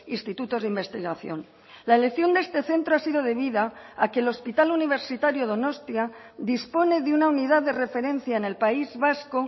institutos de investigación la elección de este centro ha sido debida a que el hospital universitario donostia dispone de una unidad de referencia en el país vasco